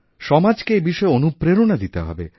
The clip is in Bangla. সমাজকে এই বিষয়ে অনুপ্রেরণা দিতে হবে